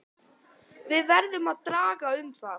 Við verðum að draga um það.